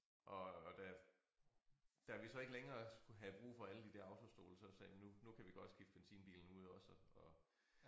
Og og da da vi så ikke længere skulle have brug for alle de der autostole så sagde vi nu nu kan vi godt skifte benzinbilen ud også og